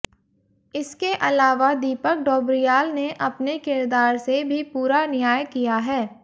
इसके अलावा दीपक डोबरियाल ने अपने किरदार से भी पूरा न्याय किया है